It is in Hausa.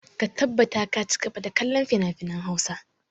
Ka tabbata ka ci gaba da kallon finafinan Hausa!